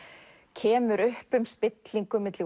kemur upp um spillingu milli